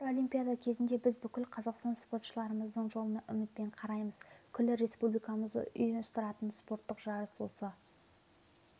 әр олимпиада кезінде біз бүкіл қазақстан спортшыларымыздың жолына үмітпен қараймыз күллі республикамызды ұйыстыратын спорттық жарыс осы